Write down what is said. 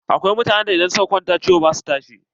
Akwai mutanen da idan suka kwanta ciwo ba su tashi.